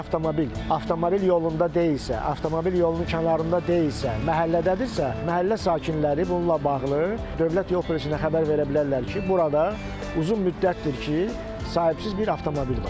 Əgər avtomobil avtomobil yolunda deyilsə, avtomobil yolunun kənarında deyilsə, məhəllədədirsə, məhəllə sakinləri bununla bağlı dövlət yol polisinə xəbər verə bilərlər ki, burada uzun müddətdir ki, sahibsiz bir avtomobil var.